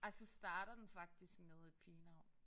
Ej så starter den faktisk med et pigenavn